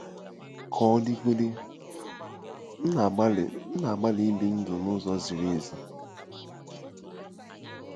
Ka ọ dịgodị, m na-agbalị na-agbalị ibi ndụ n’ụzọ ziri ezi.